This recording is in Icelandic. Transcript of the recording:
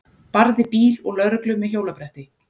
Barði bíl og lögreglu með hjólabretti